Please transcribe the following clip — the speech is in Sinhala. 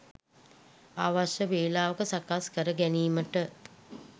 අවශ්‍ය වෙලාවක සකස් කර ගැනීමට